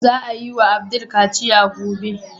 Za a yi wa Abdul kaciya gobe.